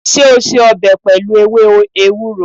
Ṣé o se ọbẹ̀ pẹlu ewé ewúro?